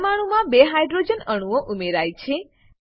પરમાણુંમાં બે હાઇડ્રોજન અણુઓ ઉમેરાય છે